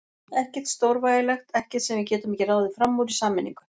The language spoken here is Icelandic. Ekkert stórvægilegt, ekkert sem við getum ekki ráðið fram úr í sameiningu.